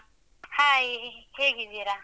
Hai ಹೇಗಿದ್ದೀರಾ?